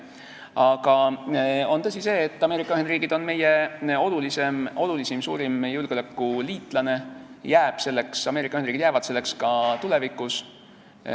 Aga on tõsi, et Ameerika Ühendriigid on meie olulisim, suurim julgeolekuliitlane, Ameerika Ühendriigid jäävad selleks ka tulevikus.